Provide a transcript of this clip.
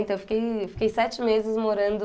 Então eu fiquei fiquei sete meses morando...